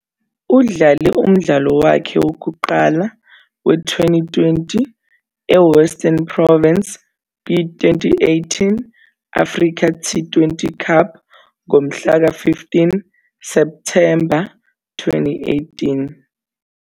Udlale umdlalo wakhe wokuqala we- Twenty20 eWestern Province kwi-2018 Africa T20 Cup ngomhlaka 15 Septhemba 2018.